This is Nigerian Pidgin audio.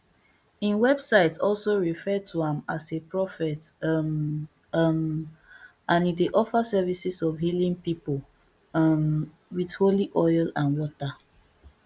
im website also refer to am as a prophet um um and e dey offer services of healing pipo um wit holy oil and water